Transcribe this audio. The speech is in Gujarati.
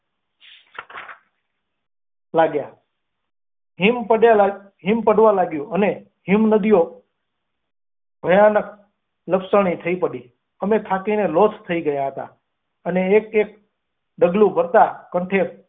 લાગ્યા હિમ પડવા લાગ્યું અને હિમનદીઓ ભયાનક લપસણી થઈ પડી, અમે પાકીને લોથ થઈ ગયા હતા. અને એક એક ડગલું ભરતા કહે.